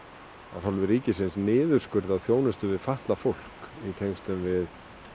af hálfu ríkisins niðurskurði á þjónustu við fatlað fólk í tengslum við